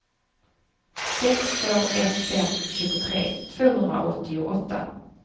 sex två ett fem tjugotre tvåhundraåttioåtta